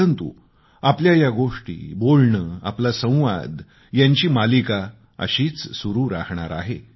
परंतु आपल्या या गोष्टी बोलणं आपला संवाद यांची मालिका अशीच सुरू राहणार आहे